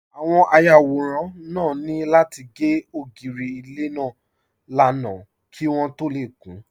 Àwọn ayàwòrán náà ní láti gé ògiri ilé náà lánàá kí wọ́n tó lè kún